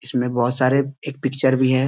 इसमें बहुत सारे एक पिक्चर भी है।